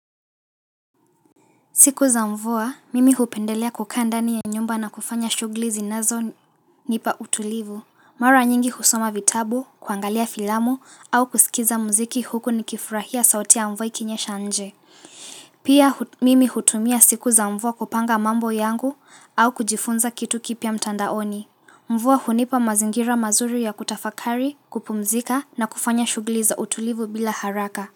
Siku za mvua, mimi hupendelea kukaa ndani ya nyumba na kufanya shuguli zinazonipa utulivu. Mara nyingi husoma vitabu, kuangalia filamu au kusikiza mziki huku nikifurahia sauti ya mvua ikinyesha nje. Pia mimi hutumia siku za mvua kupanga mambo yangu au kujifunza kitu kipya mtandaoni. Mvua hunipa mazingira mazuri ya kutafakari, kupumzika na kufanya shuguli za utulivu bila haraka.